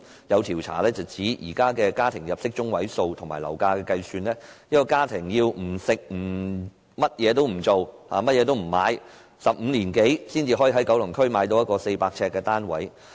有調查指出，以現時的家庭入息中位數及樓價計算，一個家庭如果不食不消費，也要超過15年才能夠在九龍區購置一個400呎的單位。